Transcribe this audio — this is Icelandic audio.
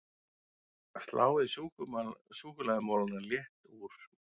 Sláið súkkulaðimolana létt úr